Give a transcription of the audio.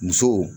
Musow